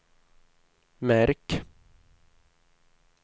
märk